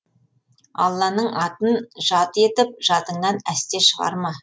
алланың атын жат етіп жадыңнан әсте шығарма